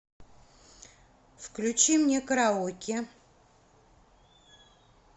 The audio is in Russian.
включи мне караоке